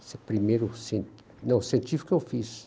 Esse é o primeiro assim... Não, científico eu fiz.